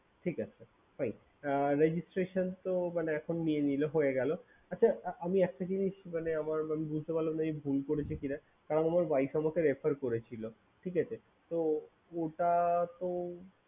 ঠিক আছে fine registration তো এখন নিয়ে নিলো হতে গেলো আচ্ছা আমি একটা জিনিস আমার বুঝতে পারলাম না আমি ভুল করেছি কিনা কারণ আমার wife অনেক refer করেছিলো ঠিক আছে তো ওটা তো